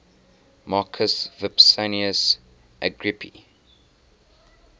marcus vipsanius agrippa